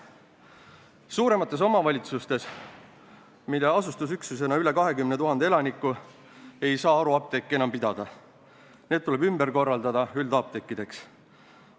Teine eesmärk on see, et suuremates omavalitsustes – asustusüksustes, kus on üle 20 000 elaniku – ei saa haruapteeke enam pidada, vaid need tuleb ümber korraldada üldapteekideks.